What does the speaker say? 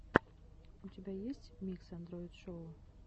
у тебя есть микс андроит шоу